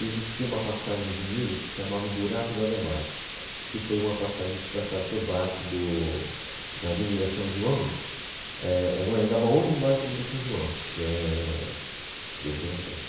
E existia uma passagem de nível que se chamava o Buraco do Ademar, que foi uma passagem que passava por baixo do, da Avenida São João, é, é o Anhangabaú, e embaixo tem a Avenida São João, que é o Buraco da